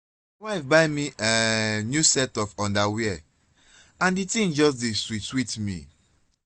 my wife buy me um new set of underwear and the thing just dey sweet sweet me